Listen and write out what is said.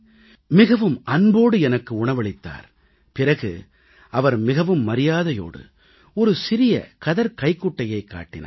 மிகவும் அன்போடு எனக்கு உணவளித்தார் பிறகு அவர் மிகவும் மரியாதையோடு ஒரு சிறிய கதர்க் கைக்குட்டையைக் காட்டினார்